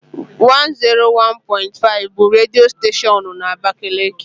101.5 bụ redio steshoonu na abakaliki.